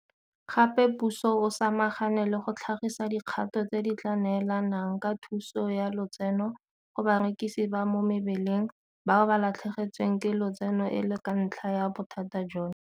Gape puso e samagane le go tlhagisa dikgato tse di tla neelanang ka thuso ya lotseno go barekisi ba mo mebileng bao ba latlhegetsweng ke lotseno e le ka ntlha ya bothata jono.